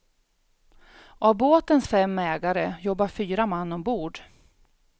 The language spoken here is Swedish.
Av båtens fem ägare jobbar fyra man ombord.